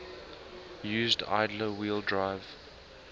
used idler wheel drive